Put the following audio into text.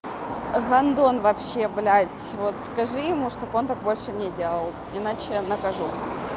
гондон вообще блядь вот скажи ему чтобы он так больше не делал иначе я накажу